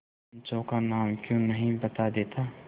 पंचों का नाम क्यों नहीं बता देता